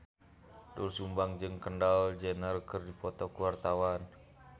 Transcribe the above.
Doel Sumbang jeung Kendall Jenner keur dipoto ku wartawan